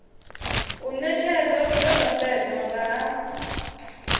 u netshedza zwidodombedzwa nga ha